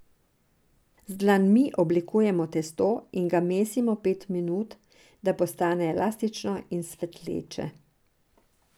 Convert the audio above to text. Z dlanmi oblikujemo testo in ga mesimo pet minut, da postane elastično in svetleče.